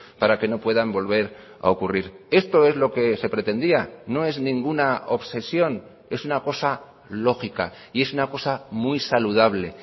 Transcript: para que no puedan volver a ocurrir esto es lo que se pretendía no es ninguna obsesión es una cosa lógica y es una cosa muy saludable